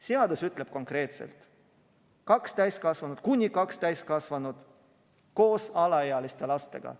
Seadus ütleb konkreetselt: kuni kaks täiskasvanut koos alaealiste lastega.